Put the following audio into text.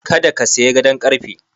Kada ka sayi gadon ƙarfe.